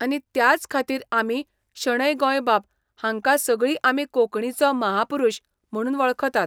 आनी त्याच खातीर आमी शणै गोंयबाब हांका सगळी आमी कोंकणीचो महापुरुश म्हणून वळखतात.